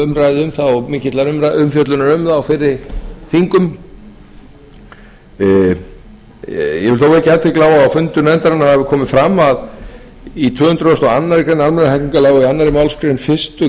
umræðu um það og mikillar umfjöllunar um það á fyrri þingum ég vil þó vekja athygli á að á fundum nefndarinnar kom fram að í tvö hundruð og aðra grein almennra hegningarlaga og í annarri málsgrein fyrstu